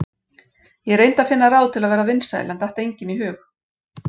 Ég reyndi að finna ráð til að verða vinsæl en datt engin í hug.